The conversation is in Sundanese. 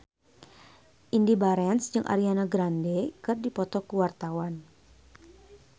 Indy Barens jeung Ariana Grande keur dipoto ku wartawan